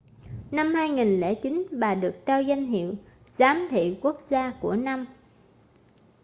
năm 2009 bà được trao danh hiệu giám thị quốc gia của năm